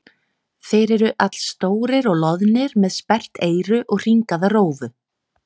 Þeir eru allstórir og loðnir með sperrt eyru og hringaða rófu.